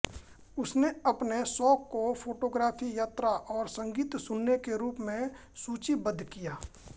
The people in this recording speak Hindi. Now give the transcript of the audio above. उसने अपने शौक को फोटोग्राफी यात्रा और संगीत सुनने के रूप में सूचीबद्ध किया